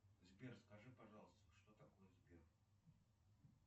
сбер скажи пожалуйста что такое сбер